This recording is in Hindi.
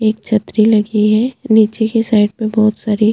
एक छतरी लगी है नीचे के साइड पे बहोत सारी --